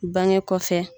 Bange kɔfɛ